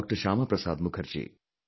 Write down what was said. Shyama Prasad Mukherjee